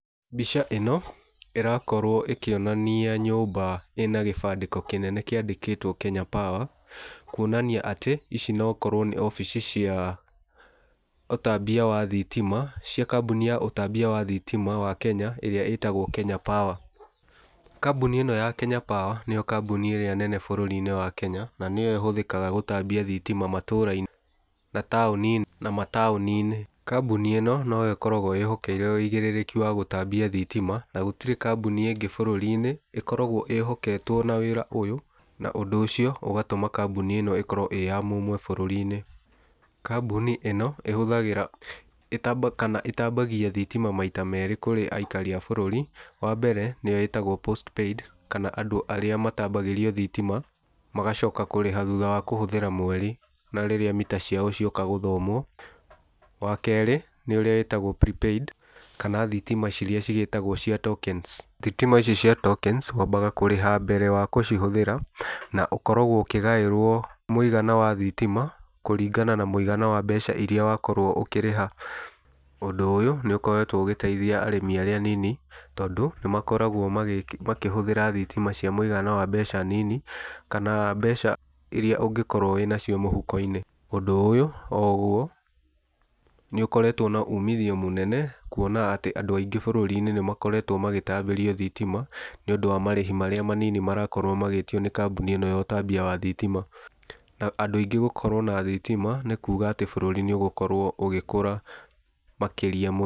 Mbica ĩno ĩrakorwo ĩkĩonania nyũmba ĩna gĩbandĩko kĩnene kĩandĩkĩtwo Kenya Power, kuonania atĩ ici nokorwo nĩ wabici cia ũtambia wa thitima, cia kambuni ya ũtambia wa thitima wa Kenya, ĩrĩa ĩtagwo Kenya Power. Kambuni ĩno ya Kenya Power nĩyo kambuni ĩrĩa nene bũrũri-inĩ wa Kenya, na nĩyo ĩhũthĩkaga gũtambia thitima matũra-inĩ na mataũni-inĩ. Kambuni ĩno noyo ĩkoragwo ĩhokeire üigĩrĩrĩki wa gũtambia thitima na gũtirĩ kambuni ĩngĩ bũrũri-inĩ ĩkoragwo ĩhoketwo na wĩra ũyũ, na ũndũ ũcio ũgatũma kambuni ĩno ĩkorwo ĩí ya mũmwe bũrũri-inĩ. Kambuni ĩno ĩhũthagĩra kana ĩtambagia thitima maita merĩ kũrĩ aikari a bũrũri. Wa mbere nĩyo ĩtagwo Post Paid kana andũ arĩa matambagĩrio thitima magacoka kũrĩha thutha wa kũhũthĩra mweri na rĩrĩa mita ciao cioka gũthomwo. Wa kerĩ nĩ ũrĩa wĩtagwo Pre Paid kana thitima irĩa cirĩa cigĩtagwo cia Tokens. Thitima ici cia tokens wambaga kũrĩha mbere wa gũcihũthĩra na ũkoragwo ũkĩgaĩrwo mũigana wa thitima kũringana na mũigana wa mbeca irĩa wakorwo ũkĩrĩha. Ũndũ ũyũ nĩ ũkoretwo ũgĩteithia arĩmi arĩa anini tondũ nĩ makoragwo makĩhũthĩra thitima cia mũigana wa mbeca nini, kana mbeca irĩa ũngĩkorwo wĩnacio mũhuko-inĩ. Ũndũ ũyũ oguo nĩ ũkoretwo na uumithio mũnene kuona atĩ andũ aingĩ bũrũri-inĩ nĩ makoretwo magĩtambĩrio thitima, nĩ ũndũ wa marĩhi marĩa manini marakorwo magĩtio nĩ kambuni ĩno ya ũtambia wa thitima. Na andũ aingĩ gũkorwo na thitima nĩ kuga atĩ bũrũri nĩ ũgũkorwo ũgĩkũra makĩria mũ...